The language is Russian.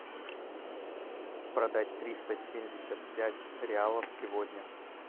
продать триста семьдесят пять реалов сегодня